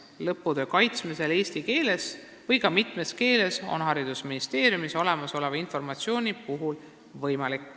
Lõputöö kaitsmine eesti keeles või ka mitmes keeles on haridusministeeriumile teadaoleva informatsiooni järgi võimalik.